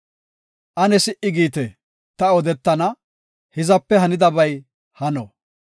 Ane si77i giite; ta odetana; hizape hanidabay hano.